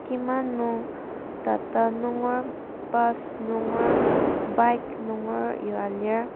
kima nung tata nunger bus nunger bike nunger yua lir.